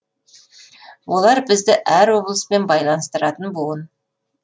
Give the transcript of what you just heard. олар бізді әр облыспен байланыстыратын буын